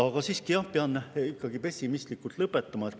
Aga siiski, jah, pean ikkagi pessimistlikult lõpetama.